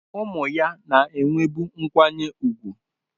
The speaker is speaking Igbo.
Ụmụ ya na-enwebu nkwanye ùgwù.